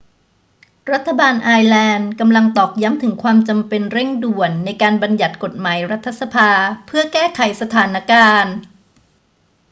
รัฐบาลไอร์แลนด์กำลังตอกย้ำถึงความจำเป็นเร่งด่วนในการบัญญัติกฎหมายรัฐสภาเพื่อแก้ไขสถานการณ์